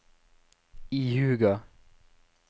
ihuga